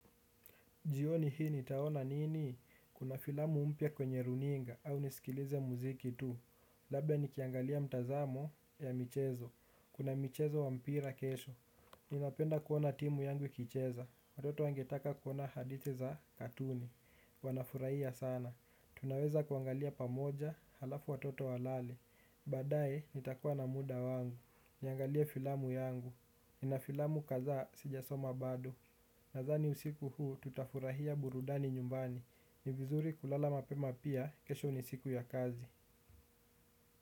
Jioni hii nitaona nini? Kuna filamu mpya kwenye runinga, au nisikilize muziki tu. Labda nikiangalia mtazamo ya michezo. Kuna michezo wa mpira kesho. Ninapenda kuona timu yangu ikicheza. Watoto wangetaka kuona hadithi za katuni. Wanafurahia sana. Tunaweza kuangalia pamoja halafu watoto walale. Baadae nitakuwa na muda wangu. Niangalie filamu yangu. Nina filamu kadhaa sijasoma bado. Nadhani usiku huu tutafurahia burudani nyumbani. Ni vizuri kulala mapema pia, kesho ni siku ya kazi.